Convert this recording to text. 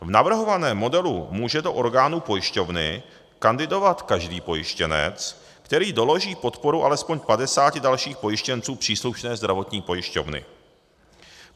V navrhovaném modelu může do orgánu pojišťovny kandidovat každý pojištěnec, který doloží podporu alespoň 50 dalších pojištěnců příslušné zdravotní pojišťovny.